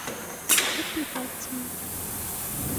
эпиляция